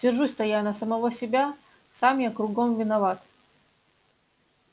сержусь-то я на самого себя сам я кругом виноват